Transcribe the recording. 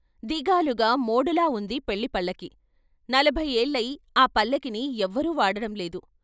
దిగాలుగా మోడులా వుంది పెళ్ళి పల్లకీ నలభై ఏళ్ళయి ఆ పల్లకీని ఎవరూ వాడడం లేదు.